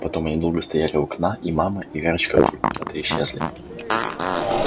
потом они долго стояли у окна и мама и верочка вдруг куда то исчезли